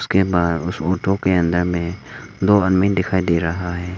के बाहर उस ऑटो के अंदर में दो आदमी दिखाई दे रहा है।